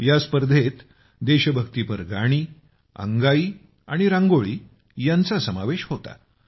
या स्पर्धेत देशभक्तीपर गाणी अंगाई आणि रांगोळी यांचा समावेश होता